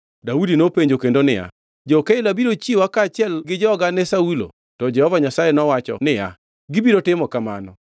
Daudi nopenjo kendo niya, “Jo-Keila biro chiwa kaachiel gi joga ne Saulo.” To Jehova Nyasaye nowacho niya, “Gibiro timo kamano.”